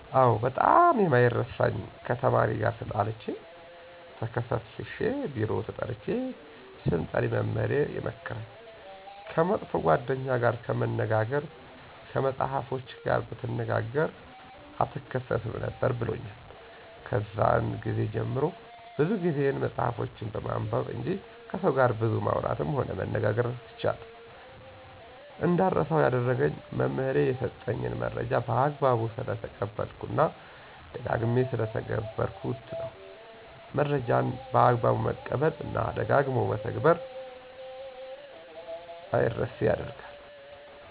አዎ ! በጣም የማይረሳኝ ከተማሪ ጋር ተጣልቸ ተከሠስሸ ቢሮ ተጠርቸ ስምጠሪ መምህሬ የመከረኝ። ከመጥፎ ጓደኛ ጋር ከመነጋገር ከመፅሐፎችህ ጋር ብትነጋገ አትከሠስም ነበር ብሎኛል። ከዛን ግዜ ጀምሬ ብዙ ጊዜየን መፅሐፎችን በማንበብ እንጅ ከሠው ጋር ብዙ ማውራትም ሆነ መነጋገር ትቻለሁ። እንዳረሳው ያደረገኝ መምህሬ የሠጠኝን መረጃ በአግባቡ ስለተቀበልሁት እና ደጋግሜ ስለተገበርሁት ነው። መረጃን በአግባቡ መቀበል እና ደጋግሞ በተግበር አምረሴ ያደርጋቸዋል።